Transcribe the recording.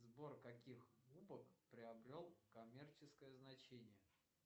сбор каких кубок приобрел коммерческое значение